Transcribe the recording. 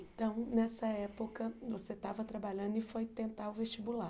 Então, nessa época, você estava trabalhando e foi tentar o vestibular.